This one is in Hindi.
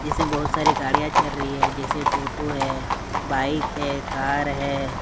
इसमें बहुत सारी गाड़ियां चल रही है जैसे टोटो है बाइक है कार है।